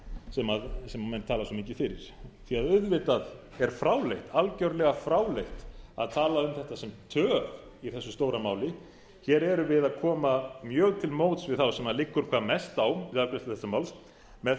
sem menn tala svo mikið fyrir því að auðvitað er algjörlega fráleitt að tala um þetta sem töf í þessu stóra máli hér erum við að koma mjög til móts við þá sem liggur hvað mest á við afgreiðslu þessa máls með